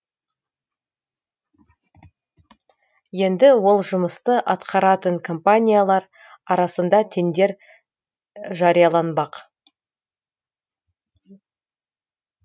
енді ол жұмысты атқаратын компаниялар арасында тендер жарияланбақ